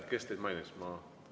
Kes teid mainis?